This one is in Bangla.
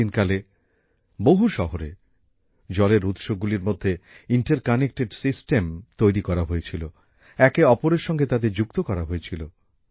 প্রাচীন কালে বহু শহরে জলের উৎসগুলির মধ্যে আন্তঃসংযোগ ব্যবস্থাপনা তৈরি করা হয়েছিল একেঅপরের সঙ্গে তাদের যুক্ত করা হয়েছিল